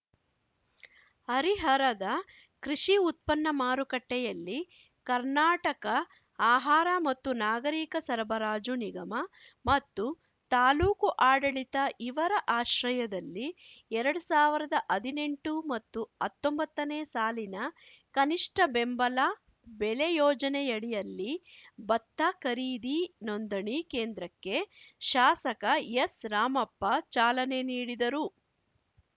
ಹರಿಹರದ ಕೃಷಿ ಉತ್ಪನ್ನ ಮಾರುಕಟ್ಟೆಯಲ್ಲಿ ಕರ್ನಾಟಕ ಆಹಾರ ಮತ್ತು ನಾಗರೀಕ ಸರಬರಾಜು ನಿಗಮ ಮತ್ತು ತಾಲೂಕು ಆಡಳಿತ ಇವರ ಆಶ್ರಯದಲ್ಲಿ ಎರಡ್ ಸಾವಿರದ ಹದಿನೆಂಟು ಮತ್ತುಹತ್ತೊಂಬತ್ತನೇ ಸಾಲಿನ ಕನಿಷ್ಠ ಬೆಂಬಲ ಬೆಲೆ ಯೋಜನೆಯಡಿಯಲ್ಲಿ ಭತ್ತ ಖರೀದಿ ನೊಂದಣಿ ಕೇಂದ್ರಕ್ಕೆ ಶಾಸಕ ಎಸ್‌ರಾಮಪ್ಪ ಚಾಲನೆ ನೀಡಿದರು